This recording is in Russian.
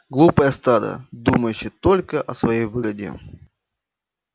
глупое стадо думающее только о своей выгоде